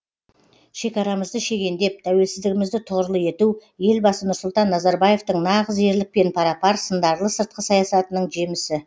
шекарамызды шегендеп тәуелсіздігімізді тұғырлы ету елбасы нұрсұлтан назарбаевтың нағыз ерлікпен пара пар сындарлы сыртқы саясатының жемісі